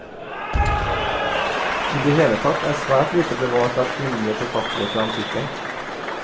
I det hele tatt er svært lite bevart av kvinnelige forfattere fra antikken.